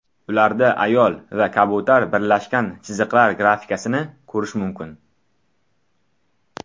Ularda ayol va kabutar birlashgan chiziqlar grafikasini ko‘rish mumkin.